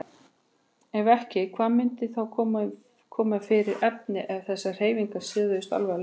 Ef ekki, hvað myndi þá koma fyrir efni ef þessar hreyfingar stöðvuðust alveg?